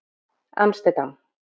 Amsterdam